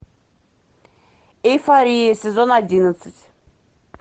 эйфория сезон одиннадцать